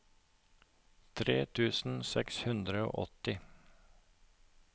tre tusen seks hundre og åtti